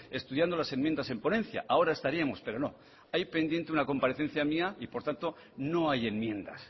estudiando las enmiendas en ponencia ahora estaríamos pero no hay pendiente una comparecencia mía y por tanto no hay enmiendas